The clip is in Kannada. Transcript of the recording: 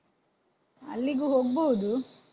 ಅಲ್ಲಿಗೂ ಹೋಗ್ಬೋದು.